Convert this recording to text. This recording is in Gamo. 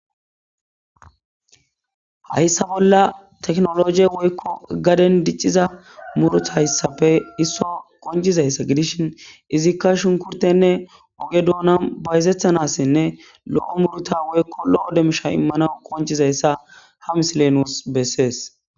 Hayssa bolla teknooloojee woykko gaden dicciza murutha issape issuwa qonccissizayssa gidishin izikka shunkkurththenne oge doonan bayzeththanaasinne lo7o murutha woykko lo7o demisha immanawu qonccizayssa ha misilee nuus bessees.